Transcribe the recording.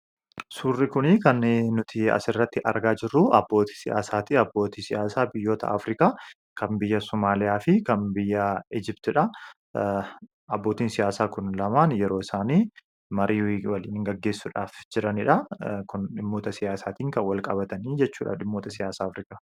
Surrii kuni kan nuti as irratti argaa jiruu abbootti siyasaadha. Abbootti siyasaa biyyaa Afirikaa. Kan biyyaa Sumaliifi kan biyyaa Ijibtidha. Abboottin siyasaa kun laman marii gegeesuudhaf kan waliin jiraanidha. Kuni dhimoota siyaasattin kan walqabatani jechuudha. Dhimoota siyaasa Afirikaa.